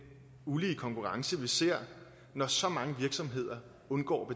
ulige konkurrence vi ser når så mange virksomheder undgår